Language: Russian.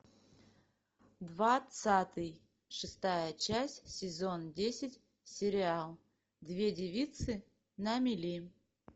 двадцатый шестая часть сезон десять сериал две девицы на мели